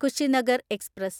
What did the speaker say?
Kushinagar express